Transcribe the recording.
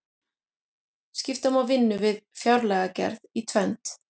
skipta má vinnu við fjárlagagerð í tvennt